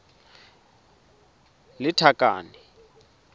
lethakane